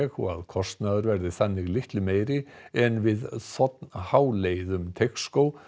og að kostnaður verði þannig litlu meiri en við þ h leið um Teigsskóg